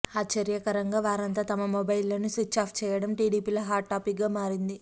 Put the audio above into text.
ఆశ్చర్యకరంగా వారంతా తమ మొబైల్లను స్విచ్ ఆఫ్ చేయడం టీడీపీలో హాట్ టాపిక్ గా మారింది